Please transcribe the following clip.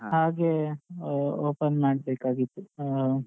ಹಾಗೆ ಆ open ಮಾಡ್ಬೇಕಾಗಿತ್ತು ಆ.